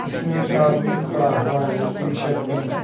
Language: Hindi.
इसमें एक आदमी खड़ा हुआ है पिंक शर्ट पहन के--